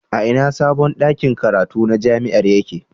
A ina sabon ɗakin karatu na jami'ar yake?